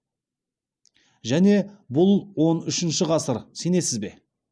және бұл он үшінші ғасыр сенесіз бе